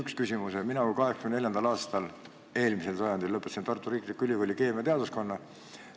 Mina lõpetasin 1984. aastal, eelmisel sajandil, Tartu Riikliku Ülikooli keemiateaduskonna.